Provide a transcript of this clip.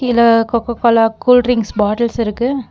இது Coca Cola cool drinks bottles இருக்கு.